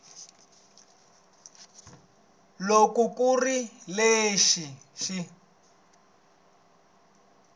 loko ku ri leswi swi